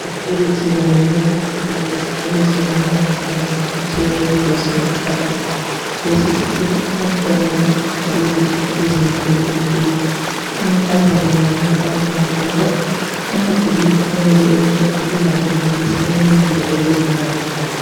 Ibhakane elithi wamukelekile esikolo sebanga eliphansi okuthiwa yiblossom academy. Lesi sikolo abantwana abagqoka izikipa ezimhlophe nke amankazana labafana bagqoka amabhulugwe ayabe emhlophe elamabhokisi alemizila leyisibhakabhaka